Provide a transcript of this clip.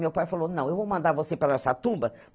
Meu pai falou, não, eu vou mandar você para Araçatuba.